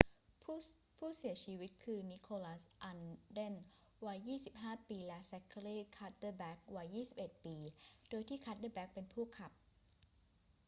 ผู้เสียชีวิตคือ นิโคลัส อัลเดน วัย 25 ปี และแซ็คเคอรี่ คัดเดอแบ็ค วัย 21 ปี โดยที่คัดเดอแบ็คเป็นผู้ขับ